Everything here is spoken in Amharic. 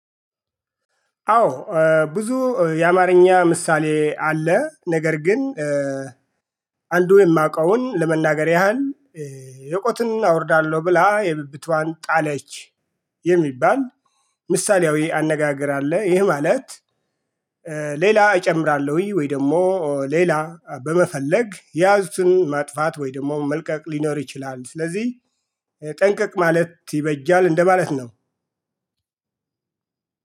አዎ። ብዙ የአማርኛ ምሳሌ አለ ነገር ግን። አንዱ የማውቀውን ለመናገር ያህል የቆጡን አወርዳለሁ ብላ የብብቷን ጣለች። የሚባል ምሳሌያዊ አነጋገር አለ። ይሄ ማለት። ሌላ እጨምራለሁኝ ወይ ደግሞ ሌላ በመፈለግ የያዙትን ማጥፋት ወይ ደግሞ መልቀቅ ሊኖር ይችላል። ስለዚህ ጠንቀቅ ማለት ይበጃል እንደማለት ነው።